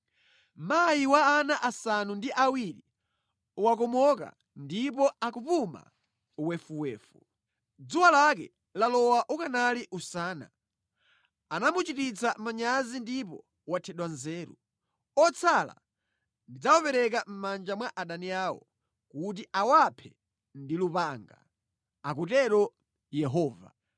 Mayi wa ana asanu ndi awiri wakomoka ndipo akupuma wefuwefu. Dzuwa lake lalowa ukanali usana; anamuchititsa manyazi ndipo wathedwa nzeru. Otsala ndidzawapereka mʼmanja mwa adani awo kuti awaphe ndi lupanga,” akutero Yehova.